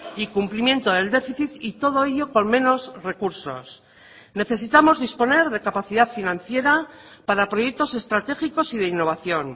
y cumplimiento del déficit y todo ello con menos recursos necesitamos disponer de capacidad financiera para proyectos estratégicos y de innovación